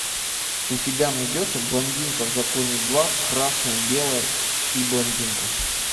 у тебя найдется блондинка в законе два красное белое и блондинка